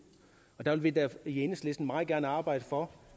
og der vil vi da i enhedslisten meget gerne arbejde for